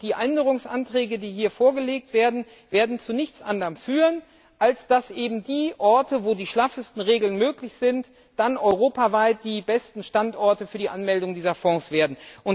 Und die Änderungsanträge, die hier vorgelegt werden, werden zu nichts anderem führen, als dass eben die Orte, wo die schlaffesten Regeln gelten, dann europaweit die besten Standorte für die Anmeldung dieser Fonds werden.